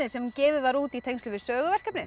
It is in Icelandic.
sem gefið var út í tengslum við